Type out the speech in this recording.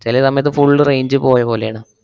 ചെല സമയത്ത് full range പോയപോലേണ്